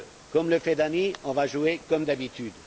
Comme le fait Dany, on va jouer comme d'habitude.